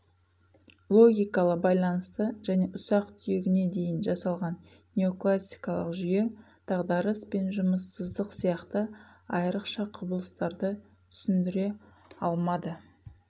логикалы байланысты және ұсақ түйегіне дейін жасалған неокласикалық жүйе дағдарыс пен жұмыссыздық сияқты айрықша құбылыстарды түсіндіре алмады